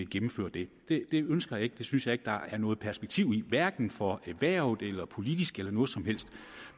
gennemføre det det ønsker jeg ikke det synes jeg ikke der er noget perspektiv i hverken for erhvervet eller politisk eller noget som helst